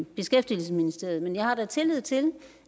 beskæftigelsesministeriet men jeg har da tillid til